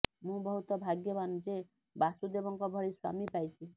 ମୁଁ ବହୁତ ଭାଗ୍ୟବାନ ଯେ ବାସୁଦେବଙ୍କ ଭଳି ସ୍ୱାମୀ ପାଇଛି